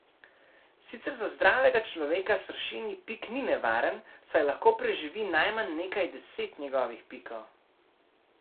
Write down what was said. Sicer za zdravega človeka sršenji pik ni nevaren saj lahko preživi najmanj nekaj deset njegovih pikov.